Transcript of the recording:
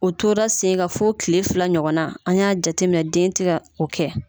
O tora senkan fo tile fila ɲɔgɔn an y'a jateminɛ den tɛ ka o kɛ